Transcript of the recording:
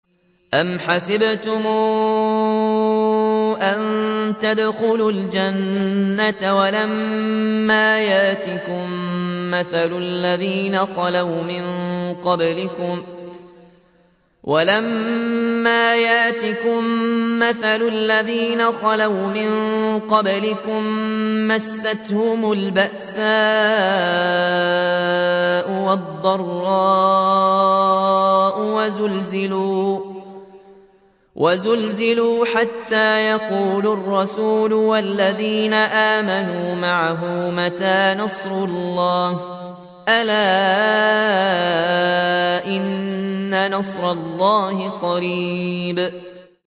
أَمْ حَسِبْتُمْ أَن تَدْخُلُوا الْجَنَّةَ وَلَمَّا يَأْتِكُم مَّثَلُ الَّذِينَ خَلَوْا مِن قَبْلِكُم ۖ مَّسَّتْهُمُ الْبَأْسَاءُ وَالضَّرَّاءُ وَزُلْزِلُوا حَتَّىٰ يَقُولَ الرَّسُولُ وَالَّذِينَ آمَنُوا مَعَهُ مَتَىٰ نَصْرُ اللَّهِ ۗ أَلَا إِنَّ نَصْرَ اللَّهِ قَرِيبٌ